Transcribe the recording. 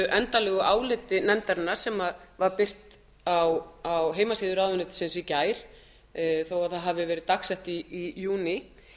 endanlegu áliti nefndarinnar sem var birt á heimasíðu ráðuneytisins í gær þó það hafi verið dagsett í júní